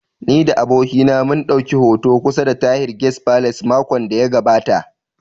Ni da abokina mun ɗauki hoto kusa da Tahir guest palace makon da ya gabata